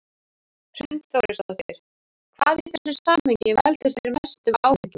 Hrund Þórsdóttir: Hvað í þessu samhengi veldur þér mestum áhyggjum?